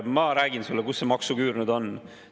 Ma räägin sulle, kus see maksuküür nüüd on.